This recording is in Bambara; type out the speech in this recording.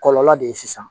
Kɔlɔlɔ de ye sisan